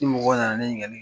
Ni mɔgɔw nana ne ɲininkali kɛ